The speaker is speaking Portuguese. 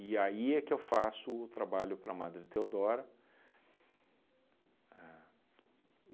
E aí é que eu faço o trabalho para a Madre Theodora. A